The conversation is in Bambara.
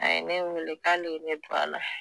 A ye ne weele k'ale ne don a la